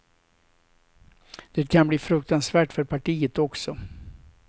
Det kan bli fruktansvärt för partiet också.